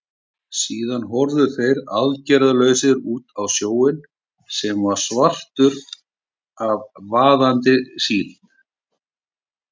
Síðan horfðu þeir aðgerðalausir út á sjóinn, sem var svartur af vaðandi síld.